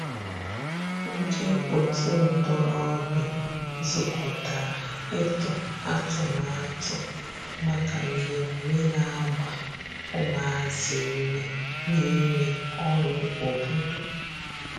ndi otu ntorobia zukotara itu atụmatụ maka mmeme na agba umuazi ume n'ime ọrụ obodo.